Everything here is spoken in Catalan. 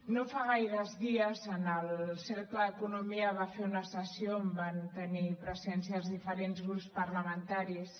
no fa gaires dies el cercle d’economia va fer una sessió on van tenir presència els diferents grups parlamentaris